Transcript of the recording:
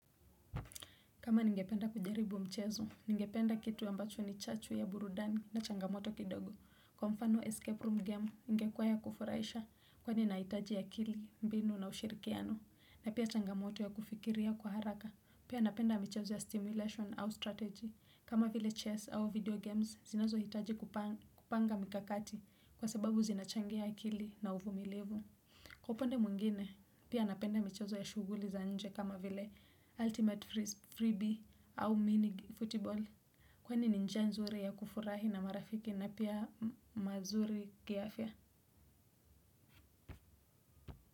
Kama ningependa kujaribu mchezo, ningependa kitu ambacho ni chachu ya burudani na changamoto kidogo. Kwa mfano escape room game, ingekuwa ya kufurahisha kwani inahitaji akili, mbinu na ushirikiano. Na pia changamoto ya kufikiria kwa haraka. Pia napenda michezo ya stimulation au strategy. Kama vile chess au video games, zinazo hitaji kupanga mikakati kwa sababu zinachangia akili na uvumilivu. Kwa upande mwingine, pia napenda michezo ya shughuli za nje kama vile ultimate freebie au mini football. Kwani ni njia nzuri ya kufurahi na marafiki na pia mazuri kiafya.